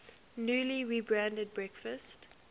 newly rebranded breakfast